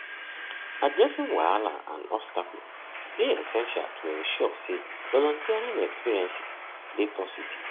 addressing wahala and obstacle dey essential to ensure say volunteering experiences dey positive